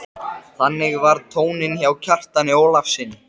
Kom alveg til mín með óveðursbliku í augunum.